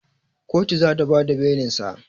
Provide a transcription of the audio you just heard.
Kotu zata bada belinsa